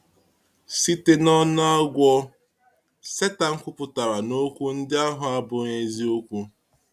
Site n’ọnụ agwọ̀, Sátán kwuputara na okwu ndị ahụ abụghị eziokwu.